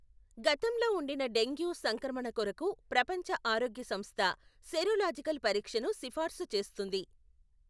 గతంలో ఉండిన డెంగ్యూ సంక్రమణ కొరకు ప్రపంచ ఆరోగ్య సంస్థ సెరోలాజికల్ పరీక్షను సిఫార్సు చేస్తుంది.